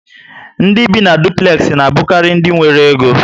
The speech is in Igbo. Ndị bi na dupulexi na abukari ndị nwéré Égó